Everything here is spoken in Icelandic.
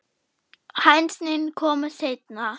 Hænsnin komu seinna.